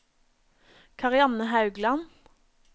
Karianne Haugland